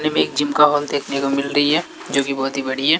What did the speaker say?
एक जिम का हॉल देखने को मिल रही है जो कि बहुत ही बड़ी है।